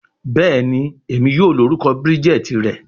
Bẹẹni, Emi yoo lorukọ Bridget rẹ